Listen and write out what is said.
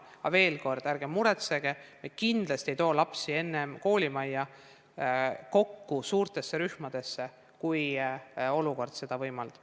Aga veel kord: ärge muretsege, me kindlasti ei too lapsi enne kokku koolimajja suurtesse rühmadesse, kui olukord seda võimaldab.